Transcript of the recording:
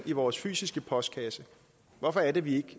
i vores fysiske postkasse hvorfor er det vi